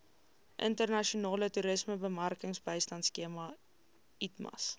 internasionale toerismebemarkingsbystandskema itmas